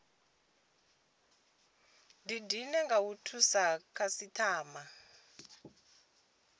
didine nga u thusa khasitama